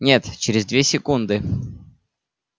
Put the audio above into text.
нет через две секунды